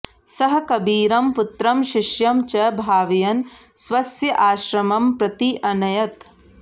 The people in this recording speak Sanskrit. सः कबीरं पुत्रं शिष्यं च भावयन् स्वस्य आश्रमं प्रति अनयत्